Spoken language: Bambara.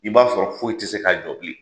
I b'a sɔrɔ foyi tɛ se k'a jɔ bilen.